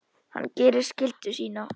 Hann gerir skyldu sína.